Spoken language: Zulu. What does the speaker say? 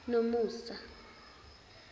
nomusa